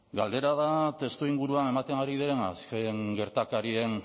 galdera da testuinguruan ematen ari diren azken gertakarien